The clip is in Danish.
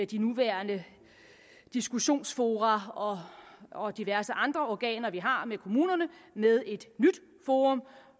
de nuværende diskussionsfora og diverse andre organer vi har med kommunerne med et nyt forum